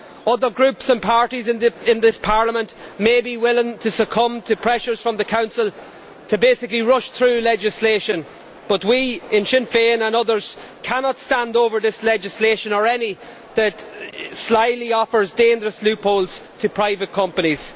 Other groups and parties in this Parliament may be willing to succumb to pressures from the Council to basically rush through legislation, but we in Sinn Féin and others cannot stand over this legislation or any that slyly offers dangerous loopholes to private companies.